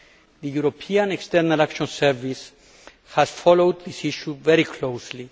The European External Action Service has followed this issue very closely.